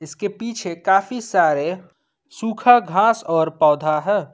इसके पीछे काफी सारे सुखा घास और पौधा है।